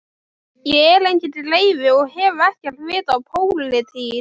Ég er enginn greifi og hef ekkert vit á pólitík.